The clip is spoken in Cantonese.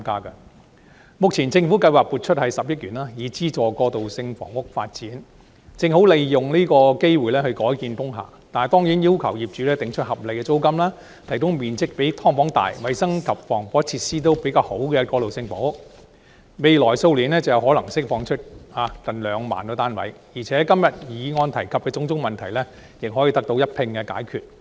政府目前計劃撥出10億元資助過渡性房屋的發展，正好利用這個機會改建工廈；但是，政府必須要求業主訂出合理租金，提供面積比"劏房"大、衞生及防火設施較好的過渡性房屋，未來數年便可能釋放出近兩萬個單位，議案今天提及的種種問題亦可以一併解決。